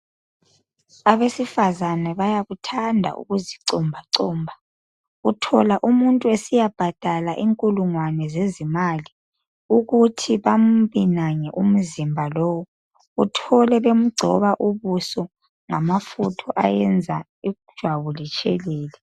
Abesifazane bayakuthanda ukuzi comba comba. Uthola umuntu esiyabhadala inkulungwane zezimali ukuthi bambinange umzimba lowu, uthole bemgcoba ubuso ngamafutha ayenza ijwabu litshelele.